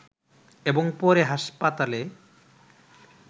এবং পরে হাসপাতালে